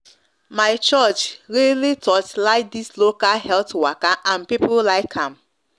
my church really torchlight this local health waka and people like am